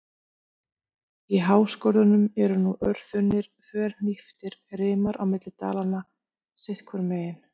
Í háskörðunum eru nú örþunnir, þverhníptir rimar á milli dalanna sitt hvorum megin.